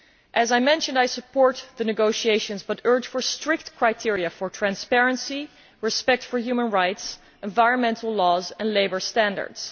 As I mentioned, I support the negotiations but urge for strict criteria for transparency, respect for human rights, environmental laws and labour standards.